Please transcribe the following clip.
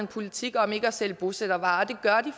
politik om ikke at sælge bosættervarer